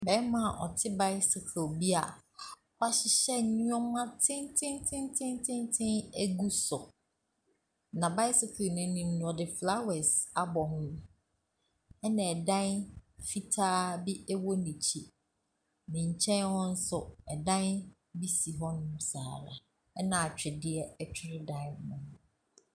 Bɛɛma a ate baisikil bi a w'ahyehyɛ nnoɔma tenten tenten tenten agu so. Na baisikil n'anim no ɔde flawɛs abɔ, ena ɛdan fitaa bi ɛwɔ n'akyi. Ne nkyɛn hɔ nso, ɛdan bi si hɔ nom saa ara. Ɛna adwedeɛ ɛtwere dan no ho.